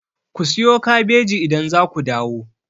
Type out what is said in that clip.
Ku siyo kabeji idan za ku dawo!